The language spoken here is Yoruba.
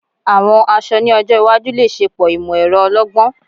Àwọn aṣọ ni ọjọ́ iwájú le ṣepọ imọ-ẹrọ ọlọ́gbọ́n